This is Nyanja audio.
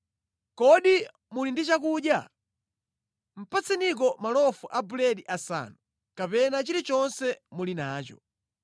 Kodi muli ndi chakudya? Patseniko malofu a buledi asanu, kapena chilichonse muli nacho.”